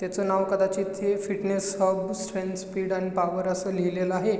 त्याचं नाव कदाचित फिटनेस हब स्ट्रेन्थ स्पीड आणि पॉवर अस लिहिलेलं आहे.